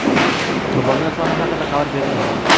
Qurbonlar soni haqida xabar berilmagan.